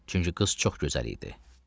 Çünki qız çox gözəl idi.